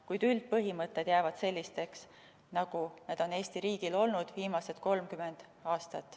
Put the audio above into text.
Kuid üldpõhimõtted jäävad sellisteks, nagu need on Eesti riigil olnud viimased 30 aastat.